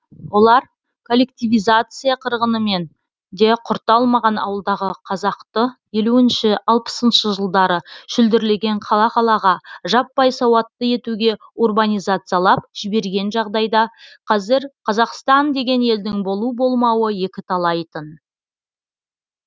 олар коллективизация қырғынымен де құрта алмаған ауылдағы қазақты елуінші алпысыншы жылдары шүлдірлеген қала қалаға жаппай сауатты етуге урбанизациялап жіберген жағдайда қазір қазақстан деген елдің болу болмауы екіталай тын